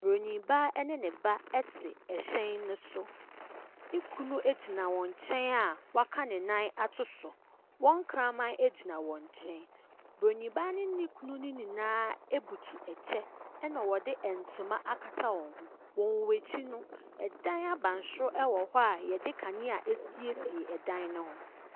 Buroni baa ne ne ba te ɛhyɛn no so. Ne kunu gyina ne nkyɛn a waka ne nan ato so. Wɔn kramn gyina wɔn nyɛn. Buroni baa no ne ne kunu no nyinaa butu kyɛ ɛna wɔde ntoma akata wɔn ho. Wɔ wɔn akyi no, ɛdan abansoro wɔ hɔ a yɛde kanea asiesie ɛdan no ho.